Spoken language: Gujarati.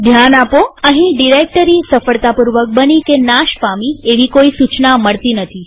ધ્યાન આપોઅહીં ડિરેક્ટરી સફળતાપૂર્વક બની કે નાશ પામી એવી કોઈ સુચના મળતી નથી